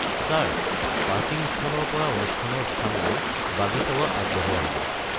Sir, parking স্থানৰ পৰা অনুষ্ঠানৰ স্থানলৈ বাগী সেৱা আগবঢ়োৱা হ'ব।